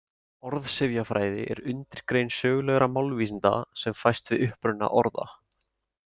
Orðsifjafræði er undirgrein sögulegra málvísinda sem fæst við uppruna orða.